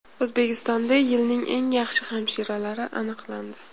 O‘zbekistonda yilning eng yaxshi hamshiralari aniqlandi.